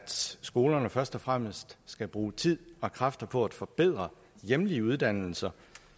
skolerne først og fremmest skal bruge tid og kræfter på at forbedre hjemlige uddannelser